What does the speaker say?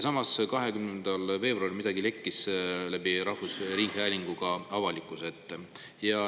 Aga 20. veebruaril lekkis midagi läbi rahvusringhäälingu avalikkuse ette.